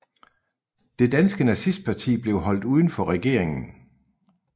Det danske nazistparti blev holdt uden for regeringen